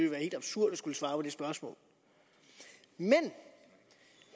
være helt absurd at skulle svare på det spørgsmål men